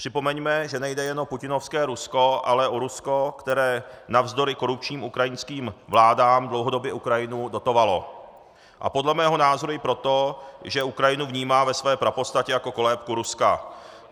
Připomeňme, že nejde jenom o putinovské Rusko, ale o Rusko, které navzdory korupčním ukrajinským vládám dlouhodobě Ukrajinu dotovalo, a podle mého názoru i proto, že Ukrajinu vnímá ve své prapodstatě jako kolébku Ruska.